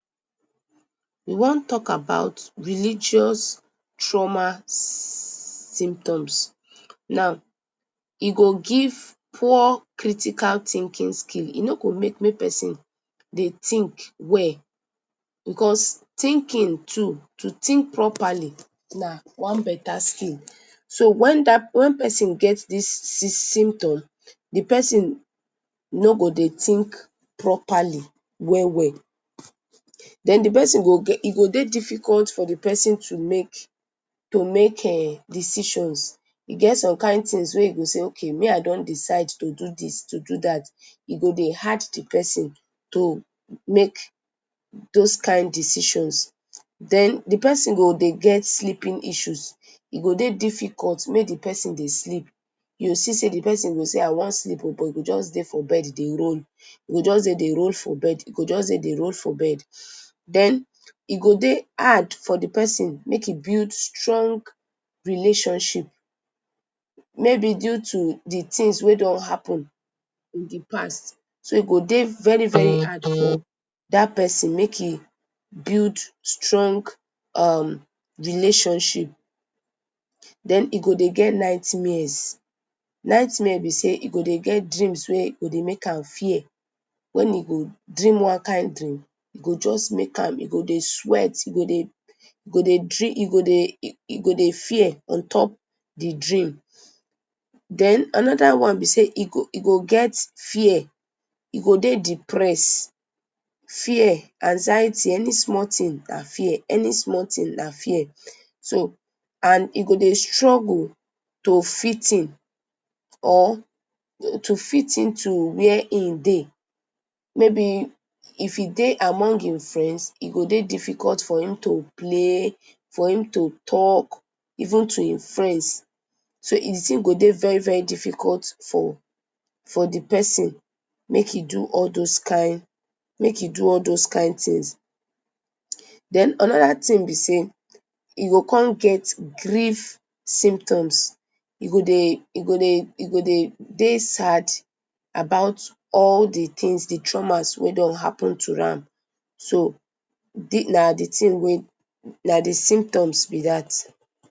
We wan talk talk about religious trauma symptoms, now e go give poor critical thinking, e no go make may persin think well because thinking too, to think properly na one bata skill so wen persin get dis symptom d persin no go dey think properly well well, den d persin, e go dey difficult for d persin to make um decisions, e get some kind thing wey d persin go sey me I don decide to do dis to do dat, e go dey hard d persin to dey make those kind decision den d persin go dey get sleeping issues, e go dey difficult mak d persin dey sleep, u go see sey d persin go say me I wan sleep but e go just dey for bed dey roll, e go jus dey roll for bed, go jus dey roll for bed, den e go dey hard for d persin make he build stong relationship mayb due to d things wey don happen for d past, e go dey very hard for dat persin make he build strong relationship, den e go dey get nightmares, nughtmares b sey e go dey get dreams wey dey make am fear, wen he go dream one kind dream e go jus make am dey sweat, he go dey, he go dey fear untop d dream, anoda one b sey he go get fear, he go dey depressed, fear anxiety, any small thing na fear, any small thing na fear, so and he go dey struggle to fit in to where hin dey, maybe if he dey among hin friends, e go dey difficult for hin to play, for hin to talk, even to hin friends, so d thing go dey very very difficult for d persin make he do all those kind things, den anoda thing b sey e go con get grief symptoms, e go dey, he go dey dey sad about all d things, d trauma wey don happen to am, so na d thing wey, na d symptoms b dat.